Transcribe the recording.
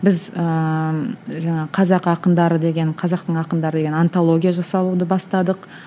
біз ііі жаңағы қазақ ақындары деген қазақтың ақындары деген антология жасалуды бастадық